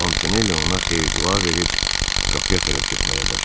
Montaneli ona xeyir-dua verib qapıya tərəf getməyə başladı.